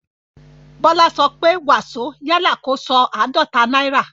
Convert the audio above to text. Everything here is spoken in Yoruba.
Bọ́lá sọ pé "wàsó" yálà kó sọ "àádọ́ta náírà".